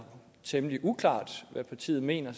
temmelig uklar om hvad partiet mener